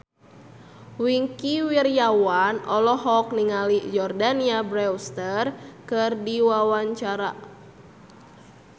Wingky Wiryawan olohok ningali Jordana Brewster keur diwawancara